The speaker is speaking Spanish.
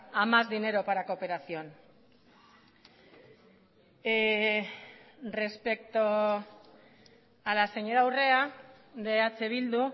a más dinero para cooperación respecto a la señora urrea de eh bildu